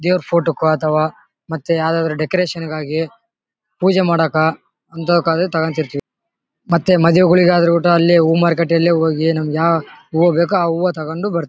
ದೇವರ ಫೋಟೋ ಕ್ಕೂ ಅಥವಾ ಮತ್ತೆ ಯಾವದಾದ್ರು ಡೆಕೋರೇಷನ್ ಗಾಗಿ ಪೂಜೆ ಮಾಡೋಕೋ ಅಂತವಕ್ಕಾದ್ರು ತಗೋತಿರ್ತಿವಿ ಮತ್ತೆ ಮಾದುವೆ ಗಳಿಗಾದ್ರು ಒಟ್ಟು ಅಲ್ಲೇ ಹೂ ಮಾರ್ಕೆಟ್ ಅಲ್ಲಿ ಹೋಗಿ ನಮಗೆ ಯಾವ ಹೂವ ಬೇಕು ಆ ಹೂವ ತಗೊಂಡು ಬರ್ತಿವಿ .